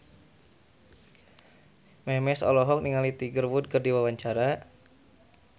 Memes olohok ningali Tiger Wood keur diwawancara